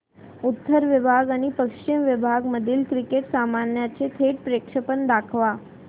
उत्तर विभाग आणि पश्चिम विभाग मधील क्रिकेट सामन्याचे थेट प्रक्षेपण दाखवा